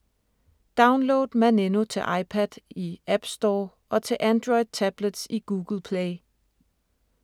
Download Maneno til iPad i App Store og til Android tablets i Google Play.